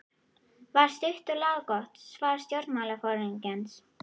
var stutt og laggott svar stjórnmálaforingjans.